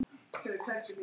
Ég elska hana.